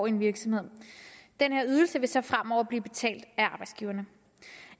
en virksomhed den her ydelse vil så fremover blive betalt af arbejdsgiverne